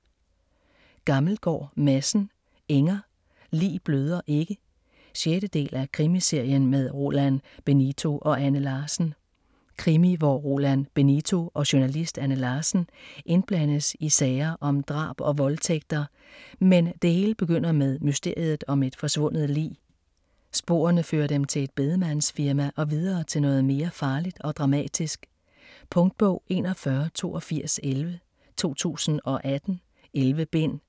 Gammelgaard Madsen, Inger: Lig bløder ikke 6. del af Krimiserien med Roland Benito og Anne Larsen. Krimi hvor Roland Benito og journalist Anne Larsen indblandes i sager om drab og voldtægter, men det hele begynder med mysteriet om et forsvundet lig. Sporene fører dem til et bedemandsfirma og videre til noget mere farligt og dramatisk. Punktbog 418211 2018. 11 bind.